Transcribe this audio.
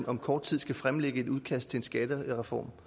om kort tid skal fremlægge et udkast til en skattereform